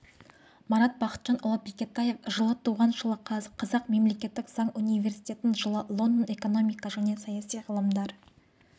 марат бақытжанұлы бекетаев жылы туған жылы қазақ мемлекеттік заң университетін жылы лондон экономика және саяси ғылымдар